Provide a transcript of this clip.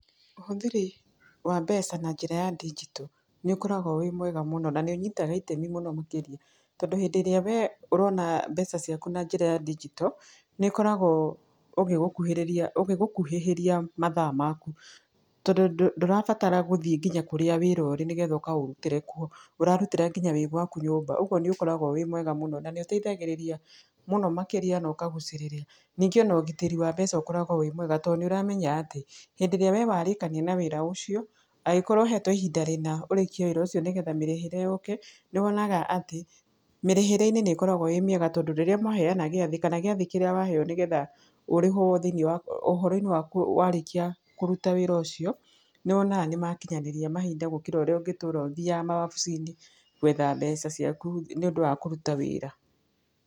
Ũhũthĩri wa mbeca na njĩra ya ndinjito, nĩ ũkoragwo wĩ mwega mũno. Na nĩ ũniytaga itemi mũno makĩria. Tondũ hĩndĩ ĩrĩa we ũrona mbeca ciaku na njĩra ya dinjito, nĩ ĩkoragwo ũgĩgũkuhĩrĩria ũgĩgũkuhĩhĩria mathaa maku. Tondũ ndũrabatara gũthiĩ nginya kũrĩa wĩra ũrĩ nĩgetha ũkaũrutĩre kuo, ũrarutĩra nginya wĩ gwaku nyũmba. Ũguo nĩ ũkoragwo wĩ mwega mũno. Na nĩ ũteithagĩrĩria mũno makĩria na ũkagucĩrĩria. Ningĩ ona ũgitĩri wa mbeca ũkoragwo wĩ mwega, to nĩ ũramenya atĩ, hĩndĩ ĩrĩa we warĩkania na wĩra ũcio, angĩkorwo ũhetwo ihinda rĩna ũrĩkie wĩra ũcio nĩgetha mĩrĩhĩre yũke, nĩ wonaga atĩ, mĩrĩhĩre-inĩ nĩ ĩkoragwo ĩĩ mĩega tondũ rĩrĩa maheana gĩathĩ kana gĩathĩ kĩrĩa waheo nĩgetha ũrĩhwo thĩiniĩ wa ũhoro-inĩ wa warĩkia kũruta wĩra ũcio, nĩ wonaga nĩ makinyanĩria mahinda gũkĩra ũrĩa ũngĩtũra ũthiaga mawabici-inĩ gwetha mbeca ciaku nĩ ũndũ wa kũruta wĩra.